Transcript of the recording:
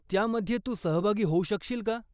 त्यामध्ये तू सहभागी होऊ शकशील का?